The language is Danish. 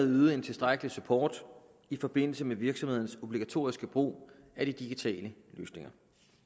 yde en tilstrækkelig support i forbindelse med virksomhedernes obligatoriske brug af de digitale løsninger